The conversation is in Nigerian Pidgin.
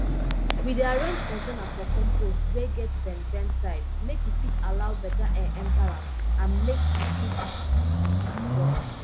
we dey arrange container for compost wey get bend bend side make e fit allow beta air enter am and make e fit quick spoil